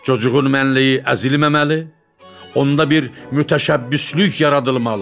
Cooğun mənliyi əzilməməli, onda bir müştəbbislik yaradılmalı.